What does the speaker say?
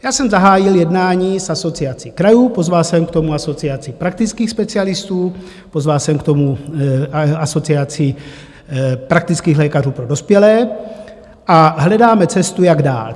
Já jsem zahájil jednání s Asociací krajů, pozval jsem k tomu asociaci praktických specialistů, pozval jsem k tomu asociaci praktických lékařů pro dospělé a hledáme cestu, jak dál.